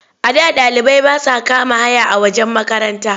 A da ɗalibai ba sa kama haya a wajen makaranta.